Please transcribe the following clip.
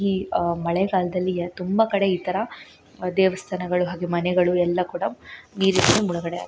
ಈ ಅಹ್ ಮಳೆಗಾಲದಲ್ಲಿ ತುಂಬಾ ಕಡೆ ಇತರ ದೇವಸ್ತಾನಗಳು ಹಾಗೆ ಮನೆಗಳು ಎಲ್ಲಾ ಕೂಡ ನೀರಿನಲ್ಲಿ ಮುಳುಗಡೆ ಆಗುತ್ತೆ.